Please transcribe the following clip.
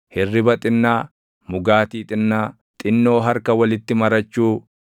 Hirriba xinnaa, mugaatii xinnaa, xinnoo harka walitti marachuu,